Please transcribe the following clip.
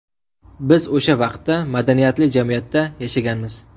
Biz o‘sha vaqtda madaniyatli jamiyatda yashaganmiz!